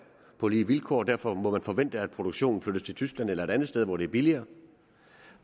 på lige vilkår og derfor må man forvente at produktionen flyttes til tyskland eller et andet sted hen hvor det er billigere